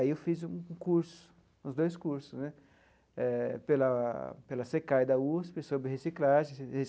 Aí eu fiz um curso, uns dois cursos né, eh pela pela CECAI da USP sobre reciclagem de.